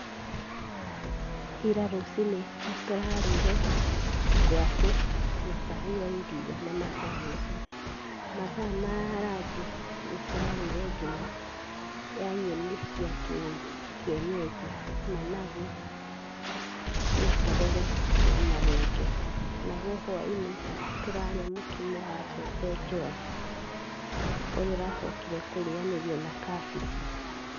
Ira rũci-inĩ tũrarĩire ngwaci, na cai wa iria na macani, mathaa ma ranji, nĩ tũrarĩire ngima ya nyeni cia kĩ kĩenyenji, managu na terere na marenge. Naguo hwainĩ tũrarĩa mũkimo wa mbembe njua, ũrĩa ũracokire kũrĩanĩrio na kabici.